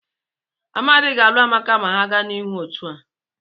Amadi ga-alụ Amaka ma ha gaa n'ihu otu a.